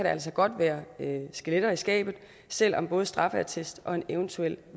altså godt være skeletter i skabet selv om både straffeattest og en eventuel